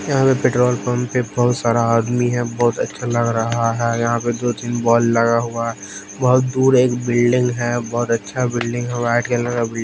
यहां पे petrol pump पे बहोत सारा आदमी है। बहोत अच्छा लग रहा हैं। यहां पे दो तीन बॉल लगा हुआ है। बहोत दूर एक बिल्डिंग है बहोत अच्छा बिल्डिंग है व्हाईट कलर का --